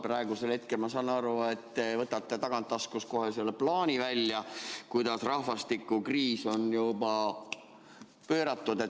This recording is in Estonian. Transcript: Praegusel hetkel ma saan aru, et te võtate tagataskust kohe selle plaani välja, kuidas rahvastikukriis on juba pööratud.